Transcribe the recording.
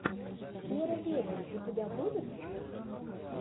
веро вериус у тебя будет